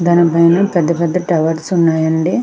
దాని పైన పెద్ధ పద్ధ టవర్స్ ఉన్నాయండి.